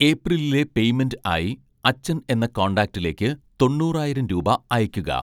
ഏപ്രിലിലെ payment ആയി അച്ഛൻ എന്ന കോണ്ടാക്ടിലേക്ക് തൊണ്ണൂറായിരം രൂപ അയയ്‌ക്കുക